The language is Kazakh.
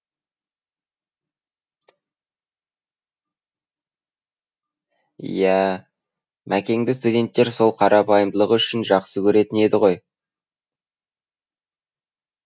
иә мәкеңді студенттер сол қарапайымдылығы үшін жақсы көретін еді ғой